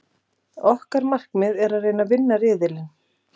Okkar markmið er að reyna að vinna riðilinn.